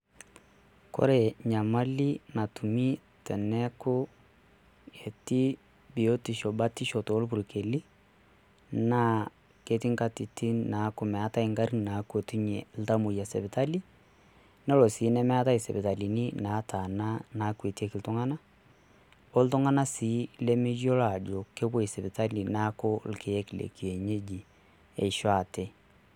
Kore Nyamali natumii teneeku etii biotisho batisho tolpurkeli, naa ketii enkatitin naa meetae egarrin naakwatunyie iltamoyia sipitali naa ore sii nemeetae esipitalini nataana naakwatieki iltung'anak oltung'anak sii lemeyiolo aajo kepoi sipitali neeku irkiek lekienyeji eisho ate.